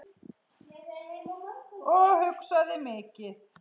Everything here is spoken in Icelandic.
Og hugsaði mikið.